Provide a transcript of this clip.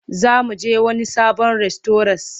Za mu je wani sabon rastauras.